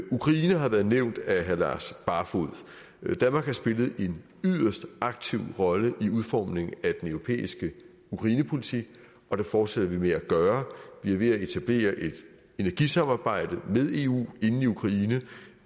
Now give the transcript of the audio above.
ukraine har været nævnt af herre lars barfoed danmark har spillet en yderst aktiv rolle i udformningen af den europæiske ukrainepolitik og det fortsætter vi med at gøre vi er ved at etablere et energisamarbejde med eu inde i ukraine